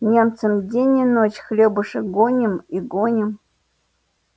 немцам день и ночь хлебушек гоним и гоним